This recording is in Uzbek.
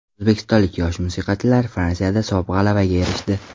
O‘zbekistonlik yosh musiqachilar Fransiyada sof g‘alabaga erishdi.